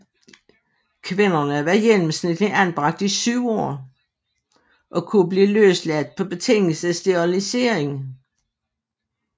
Kvinderne var gennemsnitligt anbragt i syv år og kunne blive løsladt på betingelse af sterilisering